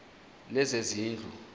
lezezindlu